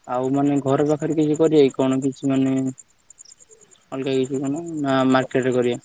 ଆଉ ମାନେ ଘର ପାଖରେ କିଛି କରିବାକି କଣ ମାନେ ଅଲଗା କିଛି ମାନେ market ରେ କରିବା।